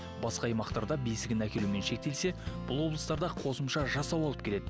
басқа аймақтарда бесігін әкелумен шектелсе бұл облыстарда қосымша жасау алып келеді